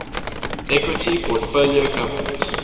equity portfolio companies